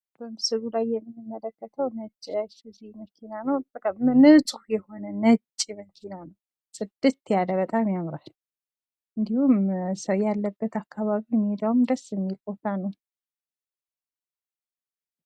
በምስሉ ላይ የምንመለከተው ነጭ መኪና ነው። በጣም ነጭ ፣ ንጽት ያለ ነው በጣም ያምራል። እንዲሁም መኪናው ያለበት አካባቢ በጣም ደስ የሚል ቦታ ነው።